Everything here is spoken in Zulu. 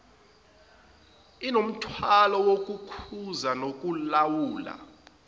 inomthwalo wokukhuza nokulawula